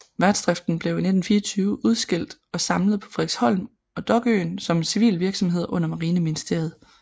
Værftsdriften blev i 1924 udskilt og samlet på Frederiksholm og Dokøen som en civil virksomhed under Marineministeriet